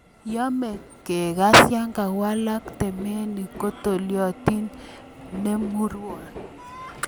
Yome kekes yon kowalak temenik kotolelionitu nemurwon.